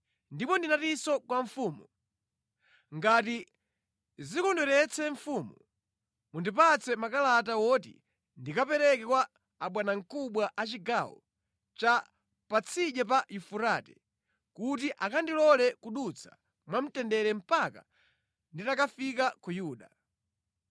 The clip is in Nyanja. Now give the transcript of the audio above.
Ndipo ndinatinso kwa mfumu, “Ngati zikondweretse mfumu, mundipatse makalata oti ndikapereke kwa abwanamkubwa a ku chigawo cha Patsidya pa Yufurate, kuti akandilole kudutsa mwamtendere mpaka nditakafika ku Yuda.